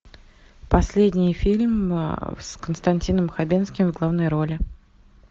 последний фильм с константином хабенским в главной роли